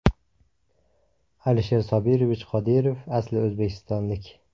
Alisher Sobirovich Qodirov asli o‘zbekistonlik.